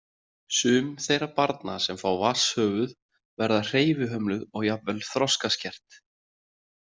Sum þeirra barna sem fá vatnshöfuð verða hreyfihömluð og jafnvel þroskaskert.